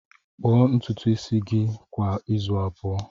Kpuo ntutu isi gị kwa izu abụọ!